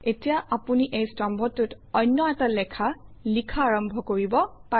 এতিয়া আপুনি এই স্তম্ভটোত অন্য এটা লেখা লিখা আৰম্ভ কৰিব পাৰে